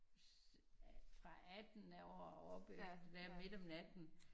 Ja alt fra 18 år og op efter der midt om natten